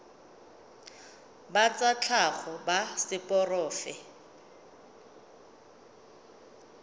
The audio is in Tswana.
ba tsa tlhago ba seporofe